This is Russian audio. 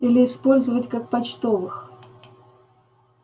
или использовать как почтовых